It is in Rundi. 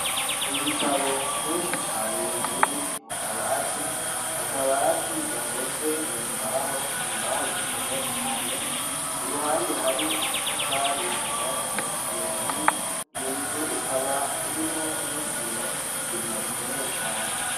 Ibitabo vyinshi cane biri mu kabati, akabati gakozwe mu mbaho, imbaho zikomeye cane, iruhande hari amatafari yubatse iyo nzu. Iyo nzu ikaba irimwo n'isima, isima rikomeye cane.